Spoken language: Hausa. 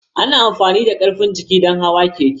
Ana amfani da karfin jiki don hawan keke.